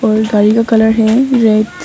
और गाड़ी का कलर है रेड ।